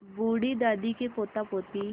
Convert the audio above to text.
बूढ़ी दादी के पोतापोती